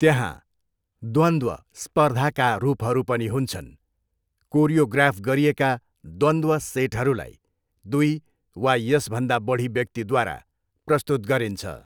त्यहाँ द्वन्द्व स्पर्धाका रूपहरू पनि हुन्छन्, कोरियोग्राफ गरिएका द्वन्द्व सेटहरूलाई दुई वा यसभन्दा बढी व्यक्तिद्वारा प्रस्तुत गरिन्छ।